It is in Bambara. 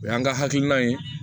O y'an ka hakilina ye